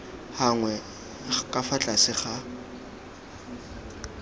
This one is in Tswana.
gagwe ka fa tlase ga